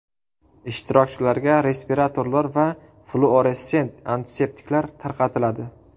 Ishtirokchilarga respiratorlar va fluoressent antiseptiklar tarqatiladi.